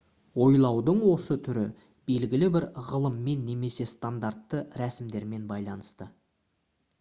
ойлаудың осы түрі белгілі бір ғылыммен немесе стандартты рәсімдермен байланысты